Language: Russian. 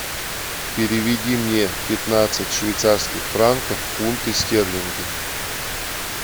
переведи мне пятнадцать швейцарских франков в фунты стерлинги